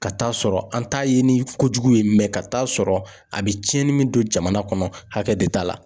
Ka taa sɔrɔ an t'a ye ni ko jugu ye ka t'a sɔrɔ a bi tiɲɛni min don jamana kɔnɔ hakɛ de t'a la.